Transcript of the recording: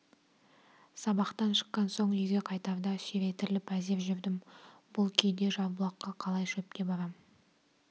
сабақтан шыққан соң үйге қайтарда сүйретіліп әзер жүрдім бұл күйде жарбұлаққа қалай шөпке барам